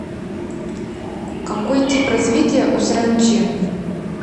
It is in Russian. какой тип развития у саранчи